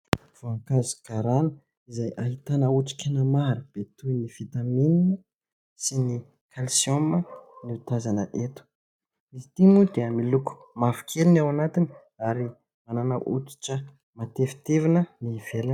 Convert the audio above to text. Voankazo garana izay ahitana otrikaina maro be toy ny "vitamine" sy ny "calsium" no tazana eto. Izy ity moa dia miloko mavokely ny ao anatiny ary manana oditra matevitevina ny ivelana.